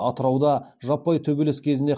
атырауда жаппай төбелес кезінде